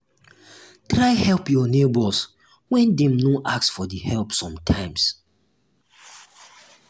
try help your neighbors when dem no ask for di help sometimes